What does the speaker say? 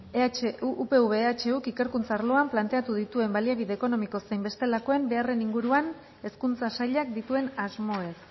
upv ehuk ikerkuntza arloan planteatu dituen baliabide ekonomiko zein bestelakoen beharren inguruan hezkuntza sailak dituen asmoez